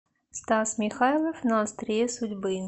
стас михайлов на острие судьбы